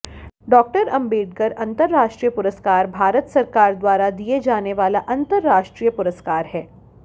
डॉ॰ आम्बेडकर अंतर्राष्ट्रीय पुरस्कार भारत सरकार द्वारा दिये जानावाला अंतर्राष्ट्रीय पुरस्कार हैं